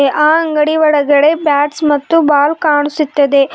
ಆ ಅಂಗಡಿಯ ಒಳಗಡೆ ಬ್ಯಾಟ್ಸ್ ಮತ್ತು ಬಾಲ್ ಕಾಣಿಸುತ್ತದೆ.